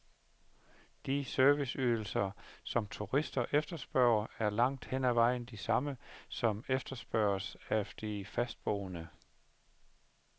De serviceydelser, som turister efterspørger, er langt hen ad vejen de samme, som efterspørges af de fastboende.